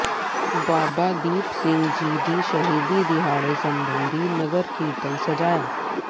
ਬਾਬਾ ਦੀਪ ਸਿੰਘ ਜੀ ਦੇ ਸ਼ਹੀਦੀ ਦਿਹਾੜੇ ਸਬੰਧੀ ਨਗਰ ਕੀਰਤਨ ਸਜਾਇਆ